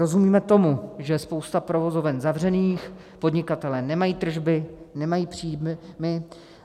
Rozumíme tomu, že je spousta provozoven zavřených, podnikatelé nemají tržby, nemají příjmy.